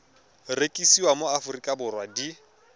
rekisiwa mo aforika borwa di